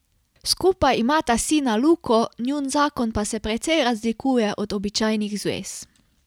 Skupaj imata sina Luko, njun zakon pa se precej razlikuje od običajnih zvez.